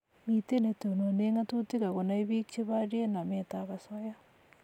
Mito netonone ngatutik akonai piik che borie namet ab asoya